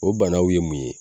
O banaw ye mun ye ?